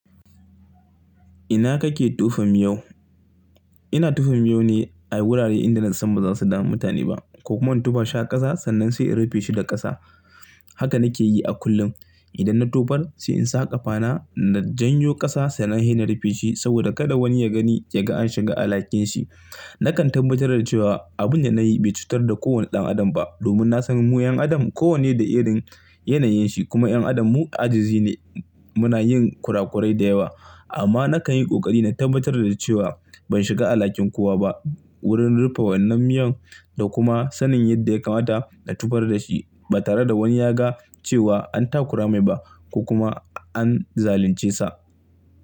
Ina kake tufa miyau? Ina tufa miyau ne a wurare inda na san ba za su damu mutane ba ko kuma in tufa shi a ƙasa sannan sai in rufe shi da ƙasa. Haka na ke yi a kullum. Idan na tufar sai in sa ƙafana na janyo ƙasa sannan hi na rufe shi saboda kada woni ya gani ya ga an shiga alhakin shi. Na kan tabbatar da cewa abun da na yi bai cutar da ko woni ɗan adam ba domin na san mu 'yan adam ko wanni da irin yanayin shi kuma 'yan adam mu ajizi ne muna yin kurakurai da yewa. Amma na kan yi ƙoƙari na tabbatar da cewa ban shiga alhakin kowa ba wurin rufe wannan miyan da kuma sanin yadda ya kamata na tufar da shi ba tare da woni ya ga cewa an takura mai ba ko kuma an zalunce sa.